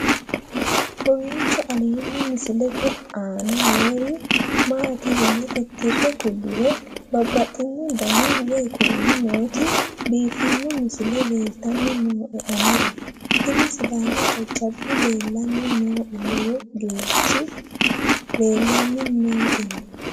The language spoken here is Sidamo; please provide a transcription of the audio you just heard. kowiicho aleenni misilete aana noori maati yine titire kulliro babaxino dani woy kuuli nooti biiffanno misile leeltanni nooe anera tino sidaamu jajjabbi leeltanni nooe lowo geerchi leellanni nooewe